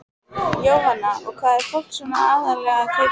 Jóhanna: Og hvað er fólk svona aðallega að kaupa?